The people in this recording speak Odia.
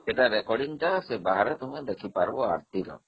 ଏଇଟା ରେକର୍ଡିଂ ଟା ସେ ବାହାରେ ଦେଖିପାରିବ ଆରତୀର